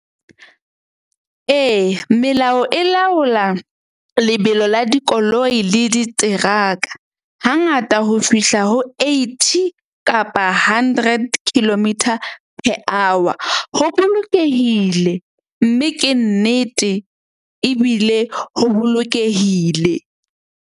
Eya, melao e laola lebelo la dikoloi le diteraka hangata ho fihla ho eighty kapa hundred kilometre per hour. Ho bolokehile mme ke nnete ebile ho bolokehile.